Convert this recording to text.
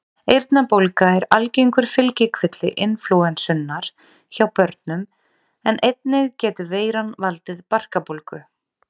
Eyrnabólga er algengur fylgikvilli inflúensunnar hjá börnum en einnig getur veiran valdið barkabólgu.